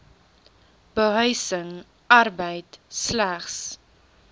behuising arbeid slegs